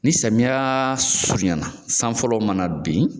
Ni samiya surunyana, san fɔlɔ mana bin